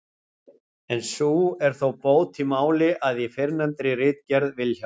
en sú er þó bót í máli, að í fyrrnefndri ritgerð Vilhjálms